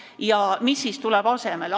Mis siis asemele tuleb?